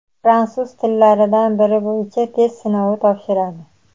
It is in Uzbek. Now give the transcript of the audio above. fransuz tillaridan biri bo‘yicha test sinovi topshiradi.